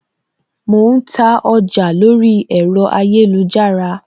Mo ń ta ọjà lórí ẹ̀rọ ayélujára